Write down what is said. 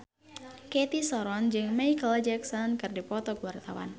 Cathy Sharon jeung Micheal Jackson keur dipoto ku wartawan